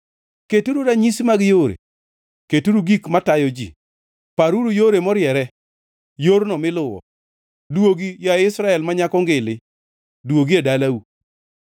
“Keturu ranyisi mag yore; keturu gik matayo ji. Paruru yore moriere, yorno miluwo. Duogi, yaye Israel ma nyako ngili, duogi e dalau.